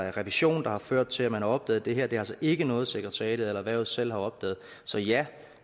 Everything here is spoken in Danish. er revision der har ført til at man har opdaget det her det er altså ikke noget sekretariatet eller erhvervet selv har opdaget så ja